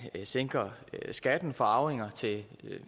sænker skatten for arvinger til